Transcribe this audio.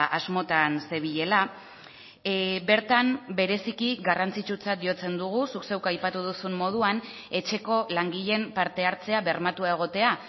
asmotan zebilela bertan bereziki garrantzitsutzat jotzen dugu zuk zeuk aipatu duzun moduan etxeko langileen parte hartzea bermatua egotea